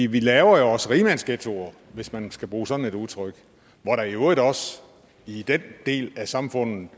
vi laver jo også rigmandsghettoer hvis man skal bruge sådan et udtryk hvor der i øvrigt også i den del af samfundet